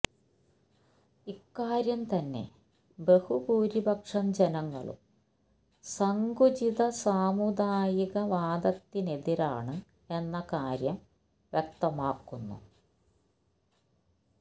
ഇക്കാര്യം തന്നെ ബഹുഭൂരിപക്ഷം ജനങ്ങളും സങ്കുചിത സാമുദായിക വാദത്തിനെതിരാണ് എന്ന കാര്യം വ്യക്തമാക്കുന്നു